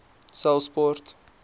saulspoort